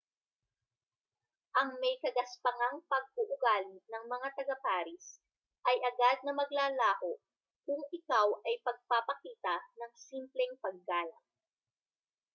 ang may-kagaspangang pag-uugali ng mga taga-paris ay agad na maglalaho kung ikaw ay pagpapakita ng simpleng paggalang